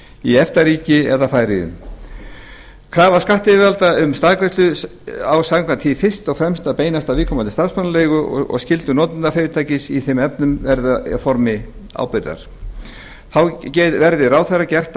í efta ríki eða í færeyjum krafa skattyfirvalda um staðgreiðslu á samkvæmt því fyrst og fremst að beinast að viðkomandi starfsmannaleigu og skyldur notendafyrirtækis í þeim efnum verða í formi ábyrgðar þá verði ráðherra gert